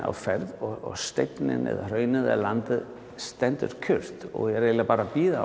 á ferð og steinninn eða hraunið eða landið stendur kyrrt og er eiginlega bara að bíða